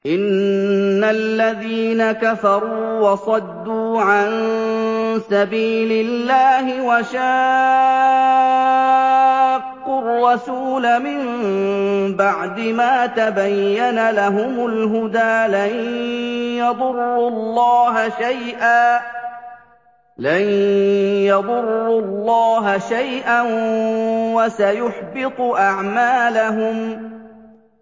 إِنَّ الَّذِينَ كَفَرُوا وَصَدُّوا عَن سَبِيلِ اللَّهِ وَشَاقُّوا الرَّسُولَ مِن بَعْدِ مَا تَبَيَّنَ لَهُمُ الْهُدَىٰ لَن يَضُرُّوا اللَّهَ شَيْئًا وَسَيُحْبِطُ أَعْمَالَهُمْ